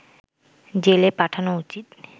জেলে পাঠানো উচিৎ